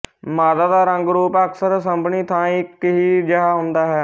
ਮਾਦਾ ਦਾ ਰੰਗਰੂਪ ਅਕਸਰ ਸਭਨੀ ਥਾਂਈਂ ਇੱਕ ਹੀ ਜਿਹਾ ਹੁੰਦਾ ਹੈ